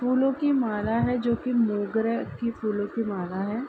फूलों की माला है जो कि मोगरा की फूलों की माला है।